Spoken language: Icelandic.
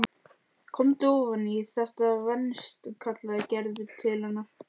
Komdu ofan í, þetta venst kallaði Gerður til hennar.